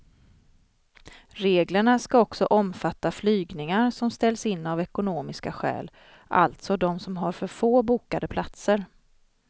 Reglerna ska också omfatta flygningar som ställs in av ekonomiska skäl, alltså de som har för få bokade platser.